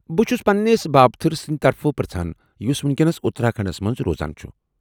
بہٕ چُھس پننِس بابتھٕر سندِ طرفہٕ پرژھان، یُس ؤنکیٚنس اُتراکھنڈس منٛز روزان چُھ ۔